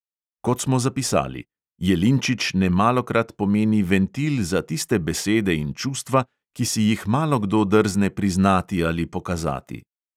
Kot smo zapisali: jelinčič nemalokrat pomeni ventil za tiste besede in čustva, ki si jih malokdo drzne priznati ali pokazati.